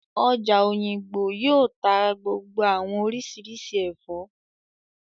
Ọjà Òyìngbò yóò tá gbogbo àwọn oríṣiríṣi ẹ̀fọ́